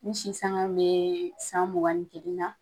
N sisangan bee san mugan ni kelen na